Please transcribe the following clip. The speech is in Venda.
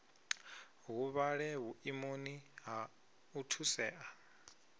huvhale vhuimoni ha u thusea